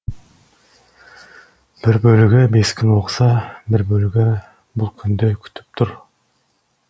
бір бөлігі бес күн оқыса бір бөлігі бұл күнді күтіп тұр